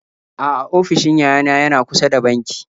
A'a ofishin yayana yana kusa da banki.